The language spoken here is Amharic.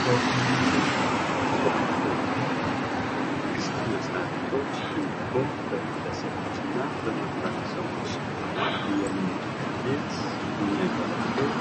ሶፋ ወንበር ሶፋ ወንበር በመንግስት መስሪያ ቤቶች እንዲሁም በግለሰቦች እና በማህበረሰቦች ለመኖሪያ ቤት የሚያገለግል፤